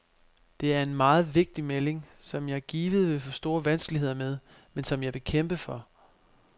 Det er en meget vigtig melding, som jeg givet vil få store vanskeligheder med, men som jeg vil kæmpe for.